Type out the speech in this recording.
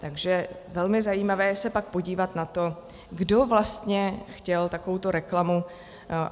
Takže velmi zajímavé je pak se podívat na to, kdo vlastně chtěl takovouto reklamu.